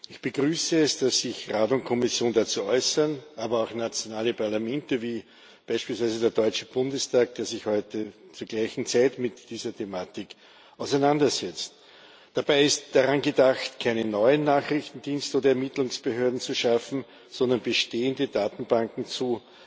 Ich begrüße es, dass sich Rat und Kommission dazu äußern, aber auch nationale Parlamente wie beispielsweise der Deutsche Bundestag, der sich heute zur gleichen Zeit mit dieser Thematik auseinandersetzt. Dabei ist daran gedacht, keine neuen Nachrichtendienste und Ermittlungsbehörden zu schaffen, sondern bestehende Datenbanken zu